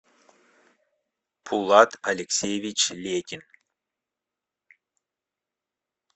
пулат алексеевич летин